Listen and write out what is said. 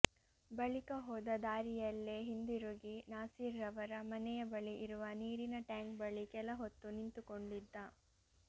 ಬಳಿಕ ಹೋದ ದಾರಿಯಲ್ಲೇ ಹಿಂದಿರುಗಿ ನಾಸಿರ್ ರವರ ಮನೆಯ ಬಳಿ ಇರುವ ನೀರಿನ ಟ್ಯಾಂಕ್ ಬಳಿ ಕೆಲ ಹೊತ್ತು ನಿಂತುಕೊಂಡಿದ್ದ